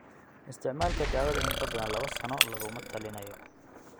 Isticmaalka daawada in ka badan lawo sano laguma talinayo.